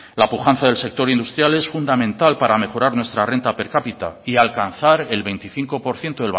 la pujanza del sector industrial es fundamental para mejorar nuestra renta per cápita y alcanzar el veinticinco por ciento